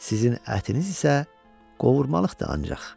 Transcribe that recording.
Sizin ətiniz isə qovurmalıqdı ancaq.